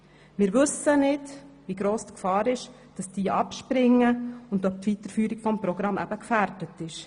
Wir wissen nicht, wie gross die Gefahr ist, dass Lehrpraktiker abspringen und ob die Weiterführung des Programms dadurch gefährdet ist.